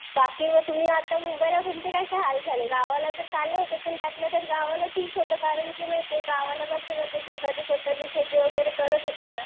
बाकी तुम्ही आता मुंबईला तुमचे काय काय हाल झाले? गावाला तर चालले होते पण त्यातल्या त्यात गावाला ठीक होतं. कारण की माहितीये का गावाला कसं स्वतःची शेती वगैरे करत होते ना.